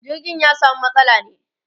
jirgin ya samu matsala ne